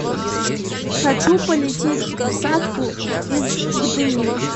хочу полететь в сатку из гдыни